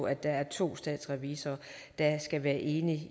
at det er to statsrevisorer der skal være enige